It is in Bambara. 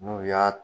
N'u y'a